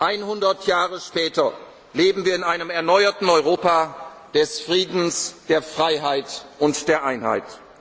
Einhundert Jahre später leben wir in einem erneuerten Europa des Friedens, der Freiheit und der